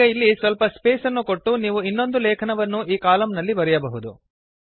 ಈಗ ಇಲ್ಲಿ ಸ್ವಲ್ಪ ಸ್ಪೇಸ್ ಅನ್ನು ಕೊಟ್ಟು ನೀವು ಇನ್ನೊಂದು ಲೇಖನವನ್ನು ಈ ಕಾಲಮ್ ನಲ್ಲಿ ಬರೆಯಬಹುದು